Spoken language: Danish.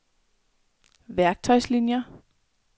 værktøjslinier